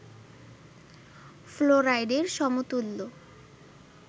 ফ্লোরাইডের সমতুল্য